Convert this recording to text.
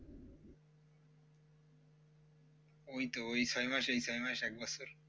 ওই তো ওই ছয় মাস এই ছয় মাস এক বছরই